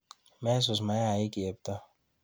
Mesus mayaik chepto.